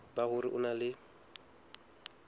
ba hore o na le